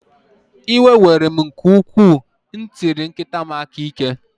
Iwe were m nke ukwuu m tiri nkịta m aka ike.